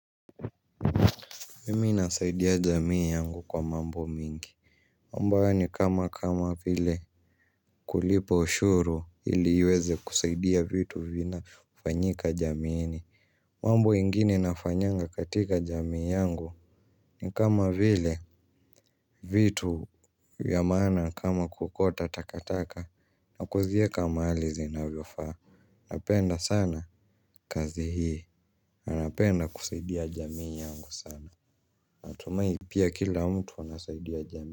Mimi nasaidia jamii yangu kwa mambo mingi mambo hayo ni kama kama vile kulipa ushuru ili iweze kusaidia vitu vinavyofanyika jamiini mambo ingine nafanyanga katika jamii yangu ni kama vile vitu ya maana kama kuokota takataka na kuziweka mahali zinavyofaa. Napenda sana kazi hii, na napenda kusaidia jamii yangu sana. Natumai pia kila mtu anasaidia jamii.